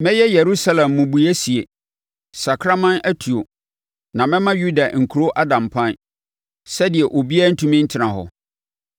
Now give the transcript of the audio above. “Mɛyɛ Yerusalem mmubuiɛ sie, sakraman atuo; na mɛma Yuda nkuro ada mpan sɛdeɛ obiara ntumi ntena hɔ.”